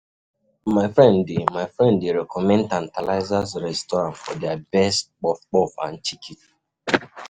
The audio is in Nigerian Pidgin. My friend dey My friend dey recommend Tantalizers restaurant for their best puff-puff and chicken.